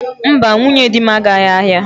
Mba, nwunye di m agaghị ahịa.